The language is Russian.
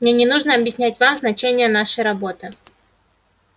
мне не нужно объяснять вам значение нашей работы